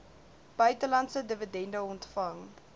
buitelandse dividende ontvang